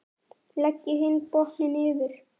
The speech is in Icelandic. Leggið hinn botninn yfir.